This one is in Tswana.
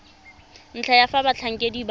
ntlha ya fa batlhankedi ba